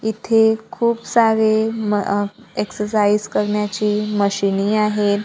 इथे खूप सारे म अ एक्ससाइज करण्याचे मशीनी आहेत.